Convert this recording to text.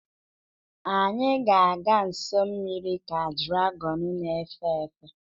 Anyị ga-aga nso mmiri ka dragọn na-efe efe.